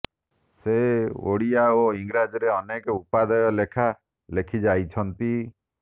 ସେ ଓଡ଼ିଆ ଓ ଇଂରାଜୀରେ ଅନେକ ଉପାଦେୟ ଲେଖା ଲେଖିଯାଇଛନ୍ତି